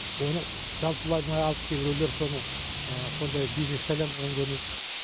оны жалпыламай алып кейбіреулер соны сондай бизнеске айландырған көрінеді